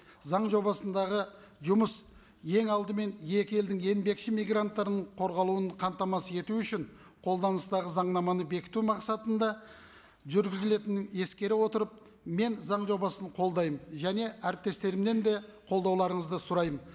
заң жобасындағы жұмыс ең алдымен екі елдің еңбекші мигранттарының қорғалуын қамтамасыз ету үшін қолданыстағы заңнаманы бекіту мақсатында жүргізілетінін ескере отырып мен заң жобасын қолдаймын және әріптестерімнен де қолдауларыңызды сұраймын